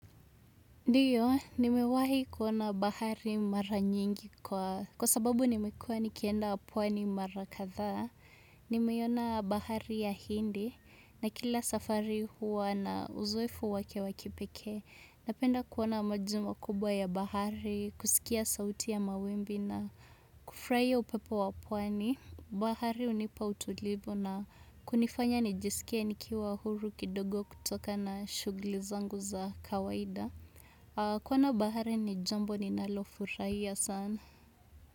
Ndiyo, nimewahi kuona bahari mara nyingi kwa sababu nimekuwa nikienda pwani mara kadhaa Nimeiona bahari ya Hindi, na kila safari huwa na uzoefu wake wa kipekee. Napenda kuona maji makubwa ya bahari, kusikia sauti ya mawimbi na kufurahia upepo wa pwani. Bahari hunipa utulivu na kunifanya nijisikie nikiwa huru kidogo kutoka na shughuli zangu za kawaida kuona bahari ni jambo ninalo furahia sana.